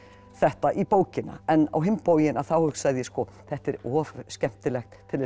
þetta í bókina en á hinn bóginn hugsaði ég þetta er of skemmtilegt til